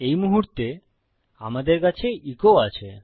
এই মুহুর্তে আমাদের কাছে এচো আছে